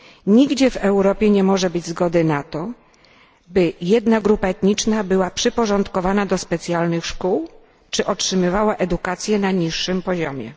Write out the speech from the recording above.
Nigdzie w Europie nie może być zgody na to, by jedna grupa etniczna była przyporządkowana do specjalnych szkół czy otrzymywała edukację na niższym poziomie.